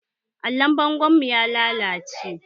Allon bangon mu ya lallace